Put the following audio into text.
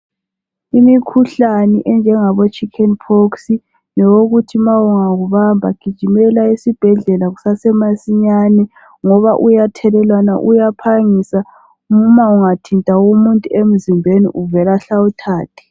Imikhuhlane enjengabo chicken pox ngeyokuthi ma ingakubamba gijimela esibhedlela kusase masinyane ngoba uyathelelwana uyaphangisa noma ungathinta umuntu emzimbeni uvele ahle awuthathe.